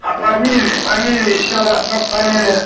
а фамилия фамилия ещё раз ну-ка фамилия